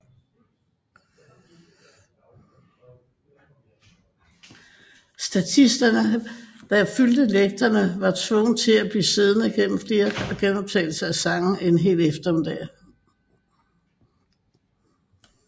Statisterne der fyldte lægterne var tvunget til at blive siddende gennem flere gentagelse af sangen en hel eftermiddag